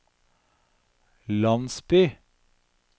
landsby